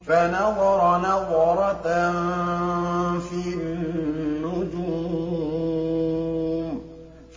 فَنَظَرَ نَظْرَةً فِي النُّجُومِ